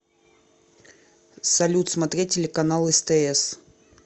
салют смотреть телеканал стс